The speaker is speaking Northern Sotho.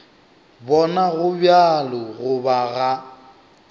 bona go bjalo goba ga